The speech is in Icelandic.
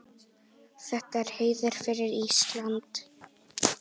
Þetta er heiður fyrir Ísland.